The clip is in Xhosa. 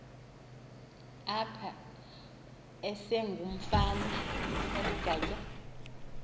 apha esengumfana oligatya